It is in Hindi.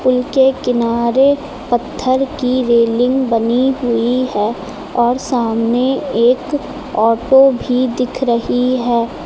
पुल के किनारे पत्थर की रेलिंग बनी हुई है और सामने एक ऑटो भी दिख रही है।